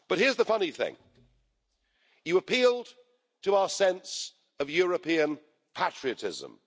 But here's the funny thing you appealed to our sense of European patriotism.